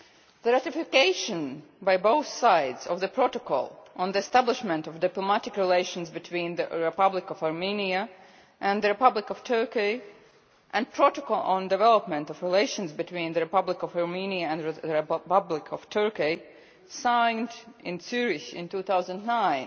The ratification by both sides of the Protocol on the establishment of diplomatic relations between the Republic of Armenia and the Republic of Turkey and the Protocol on development of relations between the Republic of Armenia and the Republic of Turkey signed in Zurich in 2009